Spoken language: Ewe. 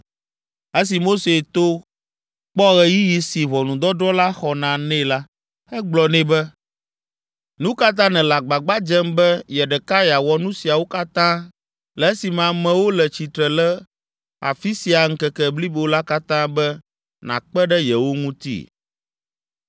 Esi Mose to kpɔ ɣeyiɣi si ʋɔnudɔdrɔ̃ la xɔna nɛ la, egblɔ nɛ be, “Nu ka ta nèle agbagba dzem be ye ɖeka yeawɔ nu siawo katã, le esime amewo le tsitre le afi sia ŋkeke blibo la katã be nàkpe ɖe yewo ŋuti?”